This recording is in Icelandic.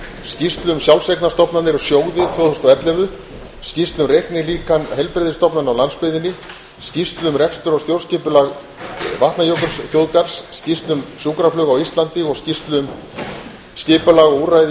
skýrslu um sjálfseignarstofnanir og sjóði tvö þúsund og ellefu skýrslu um reiknilíkan heilbrigðisstofnana á landsbyggðinni skýrslu um rekstur og stjórnskipulag vatnajökulsþjóðgarðs skýrslu um sjúkraflug á íslandi og skýrslu um skipulag og úrræði í